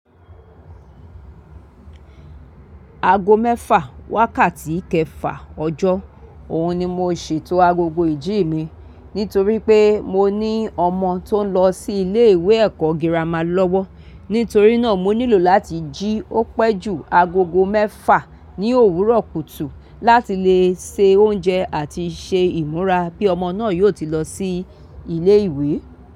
Aago mẹ́fà wákàtí kẹfà ọjọ́, òun ni mo ṣètò agogo ìjí mi. Nítorí pé mo ní ọmọ tó ń lọ sí ilé ìwé ẹ̀kọ́ girama lọ́wọ́. Nítorí náà mo nílò láti jí ó pẹ́ jù agogo mẹ́fà ní òwúrọ̀ kùtù láti lè se oúnjẹ àti ṣe ìmúra bí ọmọ náà yóò ti lọ sí ilé ìwé.